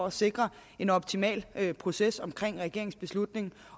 at sikre en optimal proces omkring regeringens beslutning